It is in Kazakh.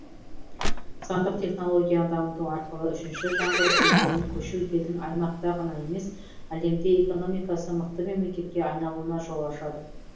сандық технологияны дамыту арқылы үшінші жаңғыру кезеңіне көшу елдің аймақта ғана емес әлемде экономикасы мықты мемлекетке айналуына жол ашады